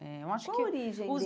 Eh eu acho que Qual a origem deles?